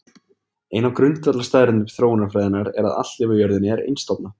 ein af grundvallarstaðreyndum þróunarfræðinnar er að allt líf á jörðinni er einstofna